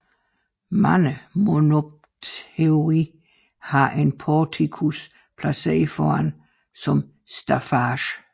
Mange monopteroi har en porticus placeret foran som staffage